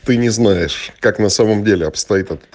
ты не знаешь как на самом деле от